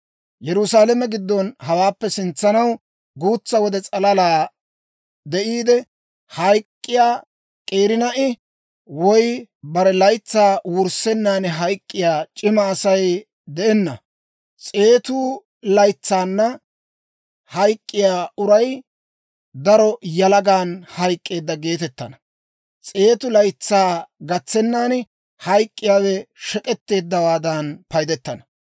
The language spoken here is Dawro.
«Yerusaalame giddon hawaappe sintsanaw, guutsaa wode s'alalaa de'iide hayk'k'iyaa k'eeri na'i, woy bare laytsaa wurssennan hayk'k'iyaa c'ima Asay de'enna. S'eetu laytsaana hayk'k'iyaa uray daro yalagan hayk'k'eedda geetettana; s'eetu laytsaa gatsennan hayk'k'iyaawe sheek'etteeddawaadan paydetana.